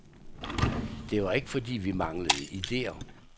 Det var ikke fordi, vi manglede idéer.